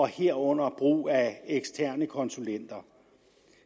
herunder brug af eksterne konsulenter